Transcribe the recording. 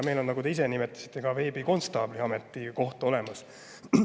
Meil on, nagu te ka ise nimetasite, veebikonstaabli ametikoht olemas.